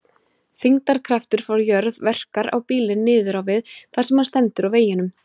Þyngdarkraftur frá jörð verkar á bílinn niður á við þar sem hann stendur á veginum.